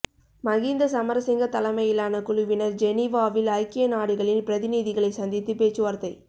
மகிந்த சமரசிங்க தலைமையிலான குழுவினர் ஜெனீவாவில் ஐக்கிய நாடுகளின் பிரதிநிதிகளை சந்தித்து பேச்சுவார்தை